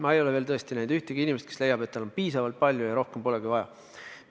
Ma ei ole veel tõesti näinud ühtegi inimest, kes leiab, et tal on piisavalt raha ja rohkem polegi vaja.